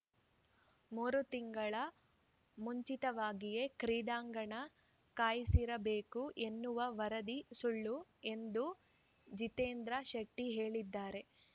ಮೂರು ತಿಂಗಳು ಮುಂಚಿತವಾಗಿಯೇ ಕ್ರೀಡಾಂಗಣ ಕಾಯ್ದಿರಿಸಬೇಕು ಎನ್ನುವ ವರದಿ ಸುಳ್ಳು ಎಂದು ಜಿತೇಂದ್ರ ಶೆಟ್ಟಿಹೇಳಿದ್ದಾರೆ